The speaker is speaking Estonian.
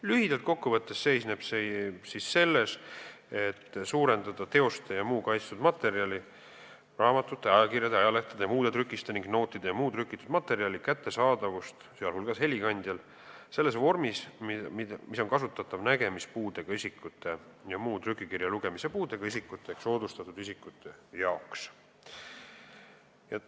Lühidalt kokku võttes seisnevad need kohustused selles, et suurendada teoste ja muu kaitstud materjali kättesaadavust, sh helikandjal, sellises vormis, mida saavad kasutada nägemispuudega isikud ja muu trükikirja lugemise puudega isikud ehk soodustatud isikud.